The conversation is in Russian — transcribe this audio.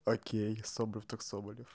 окей соболев так собалев